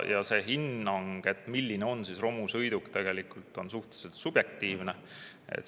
Ja see hinnang, milline on romusõiduk, on suhteliselt subjektiivne.